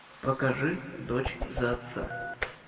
покажи дочь за отца